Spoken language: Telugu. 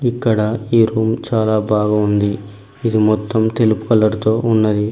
ఇక్కడ ఈ రూమ్ చాలా బాగ ఉంది ఇది మొత్తం తెలుపు కలర్ తో ఉన్నది.